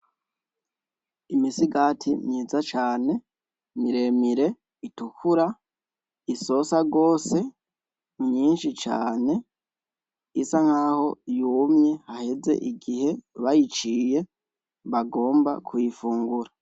Imisigati myiza cane miremire itukura isosa gose myinshi cane, isa nkaho yumye haheze igihe bayiciye bagomba kuyifungura.